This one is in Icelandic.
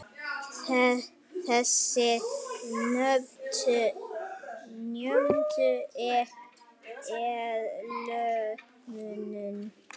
Þeir nýttu sér liðsmuninn.